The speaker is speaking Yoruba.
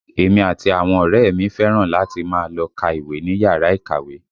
Èmi àti àwọn ọ̀rẹ́ ẹ mi fẹ́ràn láti máa lọ ká ìwé ní yàrá ìkàwé